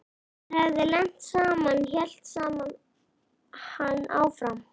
Okkur hefði lent saman hélt hann áfram.